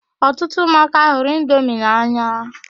Ọtụtụ ụmụaka hụrụ indomi n'anya.